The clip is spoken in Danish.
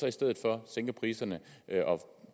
i stedet for sænker priserne og